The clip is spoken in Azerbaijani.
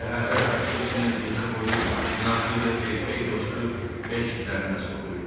Səhərlər və xüsusilə gecə boyu nazı və erkək dostu eşq nəğməsi oxuyurdular.